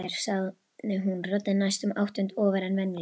sagði hún, röddin næstum áttund ofar en venjulega.